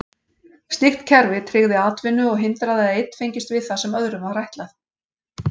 Slíkt kerfi tryggði atvinnu og hindraði að einn fengist við það sem öðrum var ætlað.